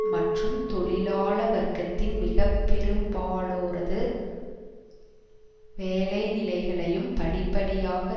மற்றும் தொழிலாள வர்க்கத்தின் மிகப்பெரும்பாலோரது வேலைநிலைகளையும் படிப்படியாக